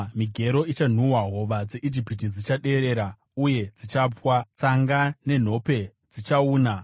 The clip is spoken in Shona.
Migero ichanhuhwa; hova dzeIjipiti dzichaderera uye dzichapwa. Tsanga nenhokwe zvichauna,